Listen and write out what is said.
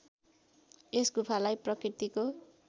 यस गुफालाई प्रकृतिको